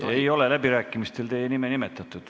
Ei ole läbirääkimistel teie nime nimetatud.